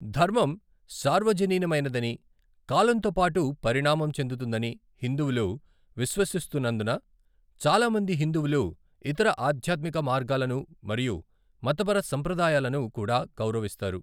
ధర్మం సార్వజనీనమైనదని, కాలంతో పాటు పరిణామం చెందుతుందని హిందువులు విశ్వసిస్తున్నందున, చాలా మంది హిందువులు ఇతర ఆధ్యాత్మిక మార్గాలను మరియు మతపర సంప్రదాయాలను కూడా గౌరవిస్తారు.